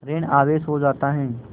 ॠण आवेश हो जाता है